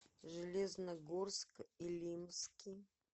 железногорск илимский